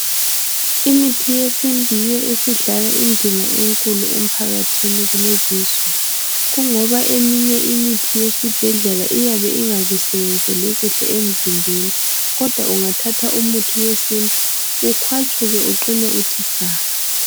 Imithi yesintu yiyo esidlala indima enkulu emphakathini kulezi insuku. Kungoba eminÿe imithi eyesibhedlela iyabe ingakusebenzeli kuhle emzimbeni. Kodwa ungathatha umuthi wesintu ukhŵatshuke uqine uthi saka.